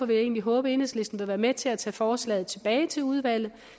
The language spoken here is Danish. vil egentlig håbe at enhedslisten vil være med til at tage forslaget tilbage til udvalget